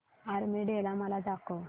army day मला दाखव